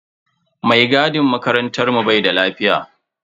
Mai gadin makarantar mu bai da lafiya.